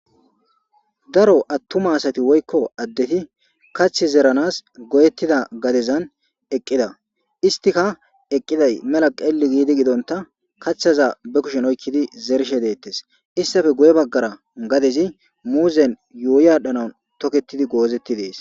Daro attuma asati woykko addeti kathth zeranas goyettida gadezan eqqida istika eqqiday mela qeelli giidi gidonta kaththaza be kushen oykkidi zershe deettes istafe guye baggara gadezi muuzen yuuyadhanaun toketidi goozetti dees